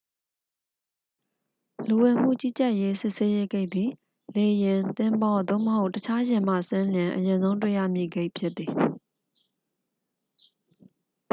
လူဝင်မှုကြီးကြပ်ရေး စစ်ဆေးရေးဂိတ်သည် လေယာဉ် သင်္ဘော သို့မဟုတ် တခြားယာဉ်မှဆင်းလျှင် အရင်ဆုံးတွေ့ရမည့် ဂိတ်ဖြစ်သည်